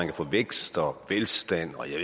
kan få vækst og velstand og jeg